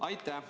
Aitäh!